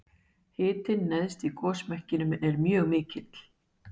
Hitinn neðst í gosmekkinum er mjög mikill.